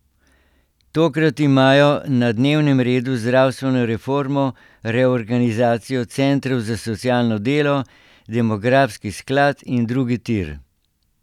Tokrat imajo na dnevnem redu zdravstveno reformo, reorganizacijo centrov za socialno delo, demografski sklad in drugi tir.